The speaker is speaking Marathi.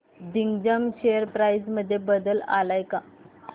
दिग्जाम शेअर प्राइस मध्ये बदल आलाय का